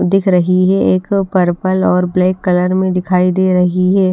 दिख रही है एक पर्पल और ब्लैक कलर में दिखाई दे रही है।